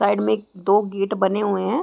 Side मे एक दो गेट बने हुए है।